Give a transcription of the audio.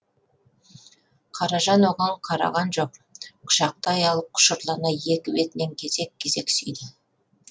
қаражан оған қараған жоқ құшақтай алып құшырлана екі бетінен кезек кезек сүйді